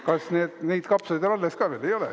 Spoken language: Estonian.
Kas neid kapsaid on alles ka veel?